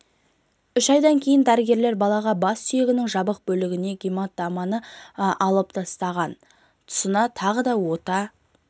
үш айдан кейін дәрігерлер балаға бас сүйегінің жабық бөлігіне гематоманы алып тастаған тұсына тағы да ота